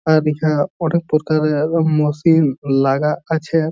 অ্যাদিক্যা অনেক প্রকারের মশিন লাগা আছে।